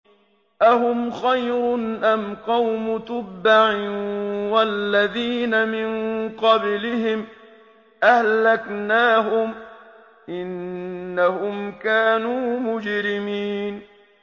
أَهُمْ خَيْرٌ أَمْ قَوْمُ تُبَّعٍ وَالَّذِينَ مِن قَبْلِهِمْ ۚ أَهْلَكْنَاهُمْ ۖ إِنَّهُمْ كَانُوا مُجْرِمِينَ